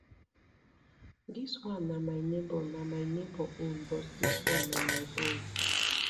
dis one na my neighbor na my neighbor own but dis one na my own